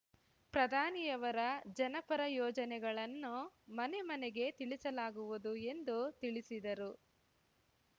ಪ್ರಧಾನಿಯವರ ಜನಪರ ಯೋಜನೆಗಳನ್ನು ಮನೆ ಮನೆಗೆ ತಿಳಿಸಲಾಗುವುದು ಎಂದು ತಿಳಿಸಿದರು